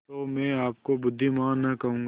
तो मैं आपको बुद्विमान न कहूँगा